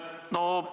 Aitäh!